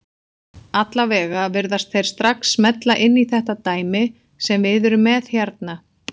Allavega virðast þeir strax smella inn í þetta dæmi sem við erum með hérna.